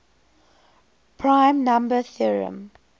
prime number theorem